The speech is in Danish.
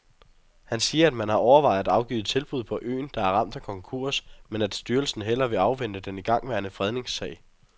Han siger, at man har overvejet at afgive tilbud på øen, der er ramt af konkurs, men at styrelsen hellere vil afvente den igangværende fredningssag.